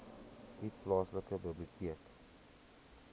u plaaslike biblioteek